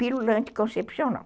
Pílula anticoncepcional